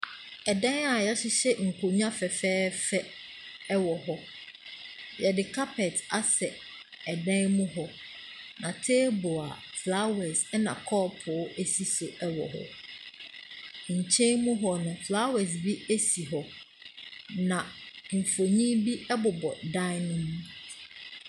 Dan a yɛahyehyɛ nkonnwa fɛfɛɛfɛ wɔ hɔ, yɛde carpet asɛ dan mu hɔ. Na table a flowers na kɔɔpo si so wɔ hɔ. Nkyɛn mu hɔ, flowers bi si hɔ. Na mfonin bi bobɔ dan ne mu.